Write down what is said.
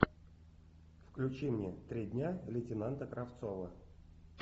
включи мне три дня лейтенанта кравцова